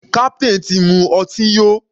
Captain ti mu ọtí yó.